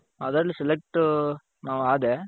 ಅದರಲ್ಲಿ selectಟು ನಾನಾದೆ.